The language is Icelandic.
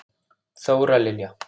Þóra Lilja.